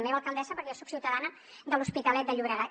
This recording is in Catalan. meva alcaldessa perquè jo soc ciutadana de l’hospitalet de llobregat